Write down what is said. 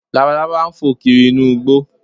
Labalábá ń fò kiri inú igbó